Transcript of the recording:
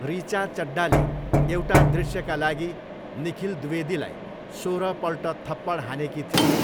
ऋचा चड्डाले एउटा दृश्यका लागि निखिल द्विवेदीलाई सोह्रपल्ट थप्पड हानेकी थिइन्।